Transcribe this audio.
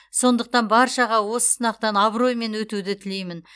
сондықтан баршаға осы сынақтан абыроймен өтуді тілеймін